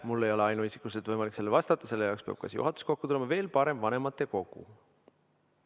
Mul ei ole ainuisikuliselt võimalik sellele vastata, selle jaoks peab kokku tulema kas juhatus või, veel parem, vanematekogu.